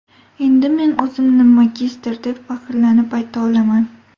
Endi men o‘zimni magistr, deb faxrlanib ayta olaman.